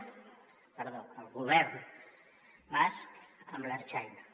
perdó el govern basc amb l’ertzaintza